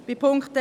Zum Punkt 1: